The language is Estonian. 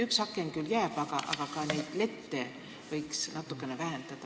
Üks aken küll jääb, aga võiks ka natukene lette vähendada.